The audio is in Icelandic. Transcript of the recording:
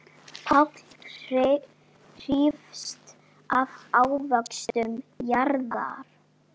Páll hrífst af ávöxtum jarðar.